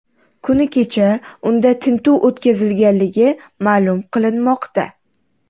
Kuni kecha unda tintuv o‘tkazilganligi ma’lum qilinmoqda.